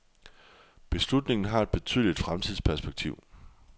Beslutningen har et betydeligt fremtidsperspektiv.